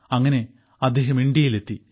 അങ്ങനെ അദ്ദേഹം ഇന്ത്യയിലെത്തി